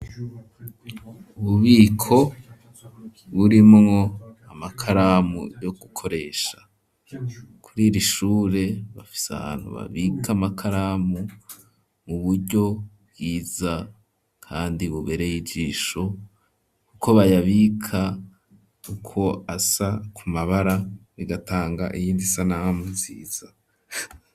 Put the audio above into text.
Ububiko burimwo amakaramu yo gukoresha kuri ir'ishure bafise ahantu babika amakaramu mu buryo bwiza kandi bubereye ijisho kuko bayabika uko asa ku mabara bigatanga iyindi isanamu nziza.